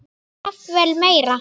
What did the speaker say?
Jafnvel meira.